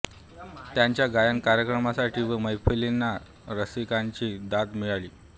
त्यांच्या गायन कार्यक्रमांना व मैफिलींना रसिकांची दाद मिळाली